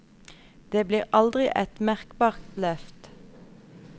Det blir aldri et merkbart løft.